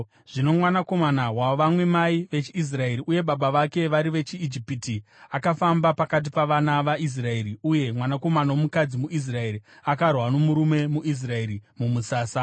Zvino mwanakomana wavamwe mai vechiIsraeri uye baba vake vari vechiIjipita, akafamba pakati pavana vaIsraeri, uye mwanakomana womukadzi muIsraeri akarwa nomurume muIsraeri mumusasa.